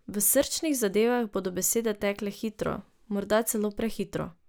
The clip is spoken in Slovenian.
V srčnih zadevah bodo besede tekle hitro, morda celo prehitro.